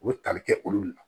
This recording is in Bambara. O bɛ tali kɛ olu de la